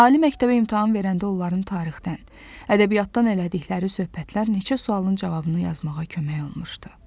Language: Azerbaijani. Ali məktəbə imtahan verəndə onların tarixdən, ədəbiyyatdan elədikləri söhbətlər neçə sualın cavabını yazmağa kömək olmuşdu.